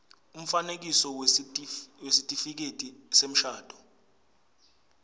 umfanekiso wesitifiketi semshado